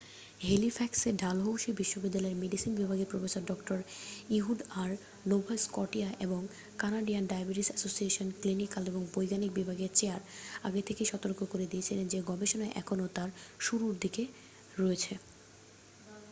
হেলিফ্যাক্সে Dalhousie বিশ্ববিদ্যালয়ের medicine বিভাগের professor ডঃ ইহুড আর নোভা স্কটিয়া এবং কানাডিয়ান ডায়াবেটিস এসোসিয়েশনের ক্লিনিক্যাল ও বৈজ্ঞানিক বিভাগের চেয়ার আগে থেকেই সতর্ক করে দিয়েছিলেন যে গবেষণা এখনও তার শুরুর দিকে রয়েছে